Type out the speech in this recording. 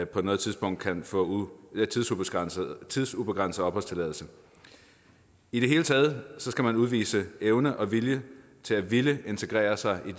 på noget tidspunkt kan få tidsubegrænset opholdstilladelse i det hele taget skal man udvise evne og vilje til at ville integrere sig i